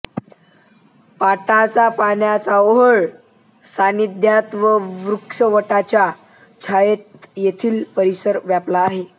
पाटाचा पाण्याचा ओहळ सान्निध्यात व वटवृक्षाच्या छायेत येथील परिसर व्यापला आहे